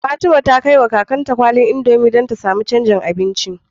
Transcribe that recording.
Fatima ta kai wa kakar ta kwalin indomie dan ta samun canjin abinci